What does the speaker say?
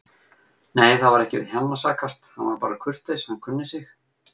Nei, það var ekki við hann að sakast, hann var bara kurteis, hann kunni sig.